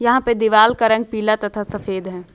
यहां पे दीवाल का रंग पीला तथा सफेद है।